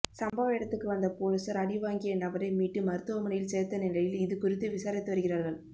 சம்பவ இடத்துக்கு வந்த பொலிசார் அடிவாங்கிய நபரை மீட்டு மருத்துவமனையில் சேர்த்த நிலையில் இது குறித்து விசாரித்து வருகிறார்கள்